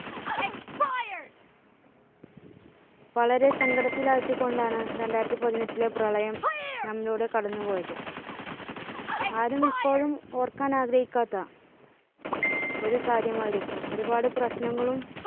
വളരെ സങ്കടത്തിൽ ആഴ്ത്തികൊണ്ടാണ് രണ്ടായിരത്തിപതിനെട്ടിലെ പ്രളയം നമ്മിലൂടെ കടന്നുപോയത്. ആരും ഇപ്പോഴും ഓർക്കാൻ ആഗ്രഹിക്കാത്ത ഒരു കാര്യമായിരിക്കും ഒരുപാട് പ്രശ്നങ്ങളും